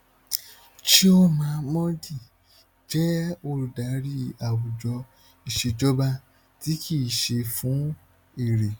chioma mordi jẹ olùdarí àwùjọ ìṣèjọba tí kì í ṣe fún èrè